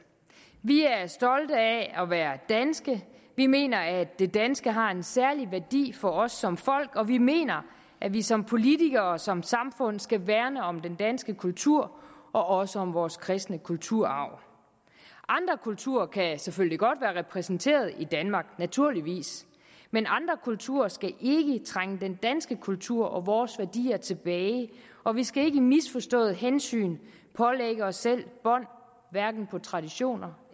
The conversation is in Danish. vi er stolte af at være danske vi mener at det danske har en særlig værdi for os som folk og vi mener at vi som politikere og som samfund skal værne om den danske kultur og også om vores kristne kulturarv andre kulturer kan selvfølgelig godt være repræsenteret i danmark naturligvis men andre kulturer skal ikke trænge den danske kultur og vores værdier tilbage og vi skal ikke i misforstået hensyntagen pålægge os selv bånd hverken på traditioner